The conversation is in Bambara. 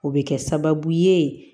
O bɛ kɛ sababu ye